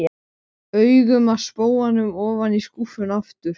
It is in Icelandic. Hver hæð var studd skástoðum úr tré.